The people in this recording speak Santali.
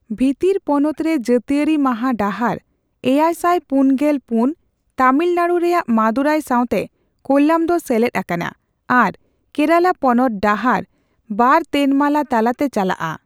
ᱵᱷᱤᱛᱤᱨ ᱯᱚᱱᱚᱛ ᱨᱮ ᱡᱟᱹᱛᱤᱭᱟᱹᱨᱤ ᱢᱟᱦᱟ ᱰᱟᱦᱟᱨᱼ᱗᱔᱔ ᱮᱭᱟᱭ ᱥᱟᱭ ᱯᱩᱱᱜᱮᱞ ᱯᱩᱱ ᱛᱟᱹᱢᱤᱞᱱᱟᱲᱩ ᱨᱮᱭᱟᱜ ᱢᱟᱫᱩᱨᱟᱭ ᱥᱟᱣᱛᱮ ᱠᱳᱞᱞᱟᱢ ᱫᱚ ᱥᱮᱞᱮᱫ ᱟᱠᱟᱱᱟ ᱟᱨ ᱠᱮᱨᱟᱞᱟ ᱯᱚᱱᱚᱛ ᱰᱟᱦᱟᱨᱼ᱒ ᱛᱮᱱᱢᱟᱞᱟ ᱛᱟᱞᱟᱛᱮ ᱪᱟᱞᱟᱜᱼᱟ ᱾